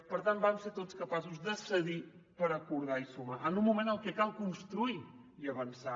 per tant vam ser tots capaços de cedir per acordar i sumar en un moment en què cal construir i avançar